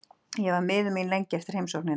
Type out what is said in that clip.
Ég var miður mín lengi eftir heimsóknina.